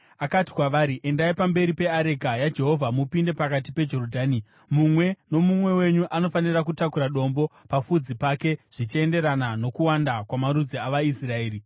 Akati kwavari, “Endai pamberi peareka yaJehovha mupinde pakati peJorodhani. Mumwe nomumwe wenyu anofanira kutakura dombo pafudzi pake zvichienderana nokuwanda kwamarudzi avaIsraeri,